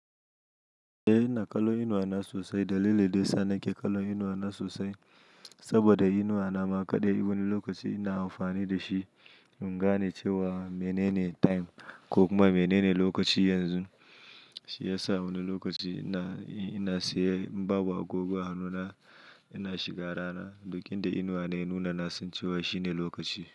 Eh ina kallon inuwa na sosai dalili da yasa ni ke kallon inuwa na sosai saboda inuwa na ma kaɗai wani lokaci ina amfani dashi in gane cewa mene ne time ko kuma mene ne lokaci yanzu shiyasa wani lokaci ina, in ina siye in babu agoggo hannuna ina shiga rana duk inda inuwa na ya nuna na san cewa shine lokaci.